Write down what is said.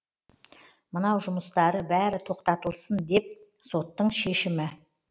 мынау жұмыстары бәрі тоқтатылсын деп соттың шешімі